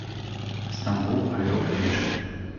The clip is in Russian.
стамбул орел и решка